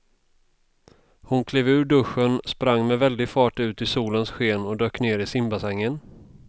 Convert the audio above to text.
Hon klev ur duschen, sprang med väldig fart ut i solens sken och dök ner i simbassängen.